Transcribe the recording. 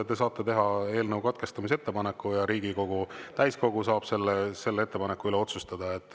Te saate teha eelnõu katkestamise ettepaneku ja Riigikogu täiskogu saab selle ettepaneku üle otsustada.